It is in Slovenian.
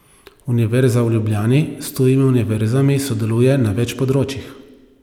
Univerza v Ljubljani s tujimi univerzami sodeluje na več področjih.